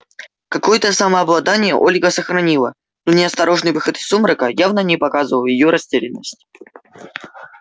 какое-то самообладание ольга сохранила но неосторожный выход из сумрака явно не показывал её растерянность